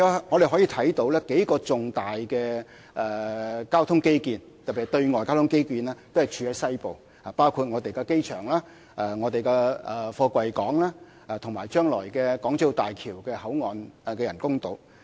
我們可以看到數項重大交通基建，特別是對外交通基建，都是處於西部，包括機場、貨櫃港，以及將來的港珠澳大橋香港口岸人工島。